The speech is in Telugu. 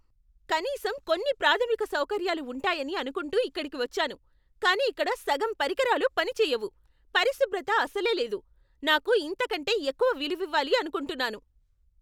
"కనీసం కొన్ని ప్రాథమిక సౌకర్యాలు ఉంటాయని అనుకుంటూ ఇక్కడికి వచ్చాను, కానీ ఇక్కడ సగం పరికరాలు పనిచెయ్యవు, పరిశుభ్రత అసలే లేదు. నాకు ఇంతకంటే ఎక్కువే విలువివ్వాలి అనుకుంటున్నాను."